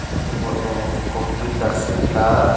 abo ke bo a computar center.